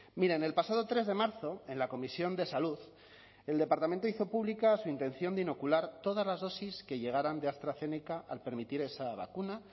miren el pasado tres de marzo en la comisión de salud el departamento hizo pública su intención de inocular todas las dosis que llegaran de astrazeneca al permitir esa vacuna